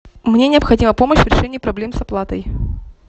мне необходима помощь в решении проблем с оплатой